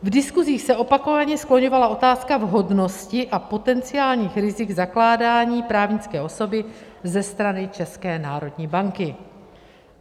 V diskusích se opakovaně skloňovala otázka vhodnosti a potenciálních rizik zakládání právnické osoby ze strany České národní banky.